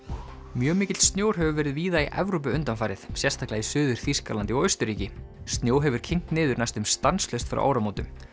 mjög mikill snjór hefur verið víða í Evrópu undanfarið sérstaklega í Suður Þýskalandi og Austurríki snjó hefur kyngt niður næstum stanslaust frá áramótum